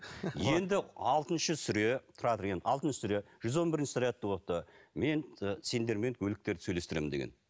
енді алтыншы сүре тұра тұр енді алтыншы сүре жүз он бірінші мен сендермен өліктерді сөйлестіремін деген